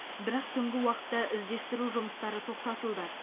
бірақ түнгі уақытта іздестіру жұмыстары тоқтатылды